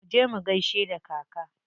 Muje mu gaishe da kaka.